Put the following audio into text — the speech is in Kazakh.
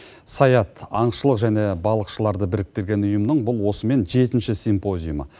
саят аңшылық және балықшыларды біріктірген ұйымның бұл осымен жетінші симпозиумы